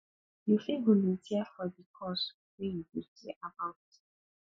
you fit volunteer for di cause wey you dey care about